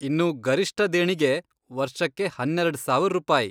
ಇನ್ನು ಗರಿಷ್ಟ ದೇಣಿಗೆ ವರ್ಷಕ್ಕೆ ಹನ್ನೆರೆಡ್ ರೂಪಾಯಿ.